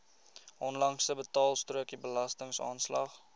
onlangse betaalstrokie belastingaanslag